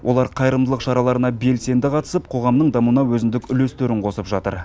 олар қайырымдылық шараларына белсенді қатысып қоғамның дамуына өзіндік үлестерін қосып жатыр